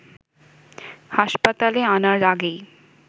হাসপাতালে আনার আগেই